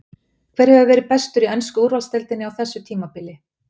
Hver hefur verið bestur í ensku úrvalsdeildinni á þessu tímabili?